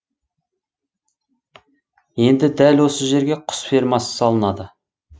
енді дәл осы жерге құс фермасы салынады